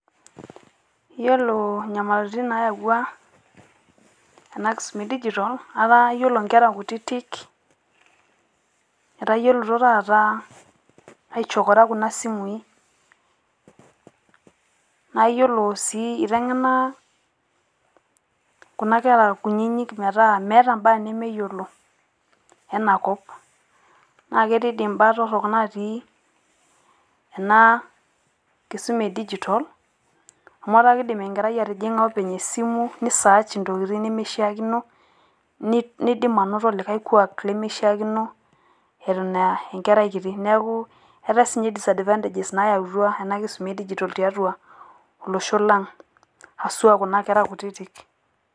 Yiolo inyamalitin naayawua ena kisuma e digital etaa yiolo nkera kutitik etayiolito taata aichokora kuna simui. Naa yiolo sii eiteng`ena kuna kera kunyinyik metaa meeta enemeyiolo ena kop. Naa ketii doi imbaa torrok natii ena kisuma e digital. Amu etaa kidim enkerai atijing`a openy atua esimu ni search ntokitin nimishiakino nidim anoto likae kuak limishiakino eton aa enkerai kiti. Niaku eetai taa sii ninche disadvantages naayautua ena kisuma e digital tiatua olosho lang haswa kuna kera kutitik.